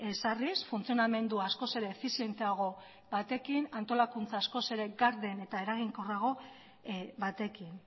ezarriz funtzionamendua askoz ere efizienteago batekin antolakuntza askoz ere garden eta eraginkorrago batekin